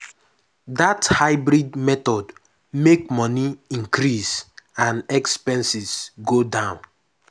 that hybrid method make money increase and expenses go down.